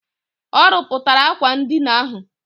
Ọ rụpụtara akwa ndina ahụ.